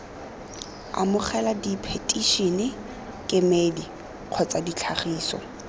amogela diphetišene kemedi kgotsa ditlhagiso